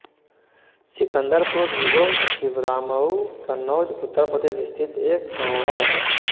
सिकंदरपुर निगोह छिबरामऊ कन्नौज उत्तर प्रदेश स्थित एक गाँव है